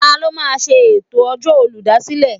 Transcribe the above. Ta ló máa ṣe ètò ọjọ́ olùdásílẹ̀?